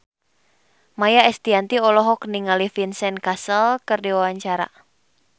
Maia Estianty olohok ningali Vincent Cassel keur diwawancara